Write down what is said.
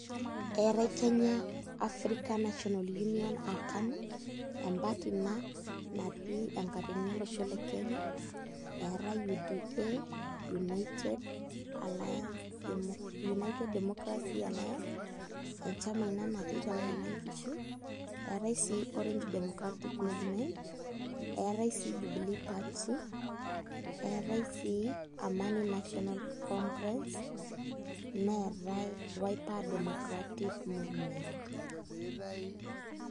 Eetai Kenya African National Union aa KANU empatti ina natii enkatitini olosho lr Kenya eetai UDA, United Demmocracy Alliance enchama ina natii tanakata nkishu, eetai sii Orange Democratic Movement eetai sii Jubilee Party eetai sii Amani National Congress neetai Wiper Democratic Movement.